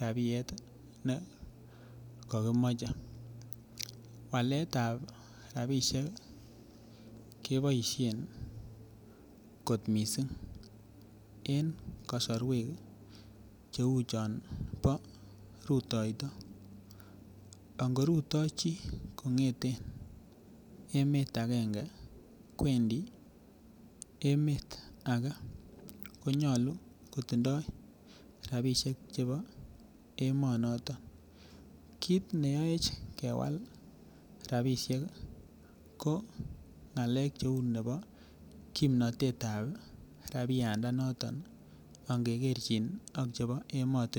rabiet ne kakimochei waletab rabishek keboishen kot mising' eng' kasorwek cheu chon bo rutoito angorutoi chi kong'eten emet agenge kwendi emet age konyolu kotindoi rabishek chebo emoniton kiit neyoech kewal rabishek ko ng'alek cheu nebo kimnatetab rabiandanoton angekerjin ak chebo emotinwek